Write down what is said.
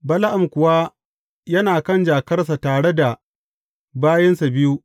Bala’am kuwa yana kan jakarsa tare da bayinsa biyu.